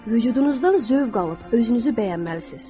Vücudunuzdan zövq alıb özünüzü bəyənməlisiniz.